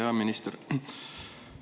Hea minister!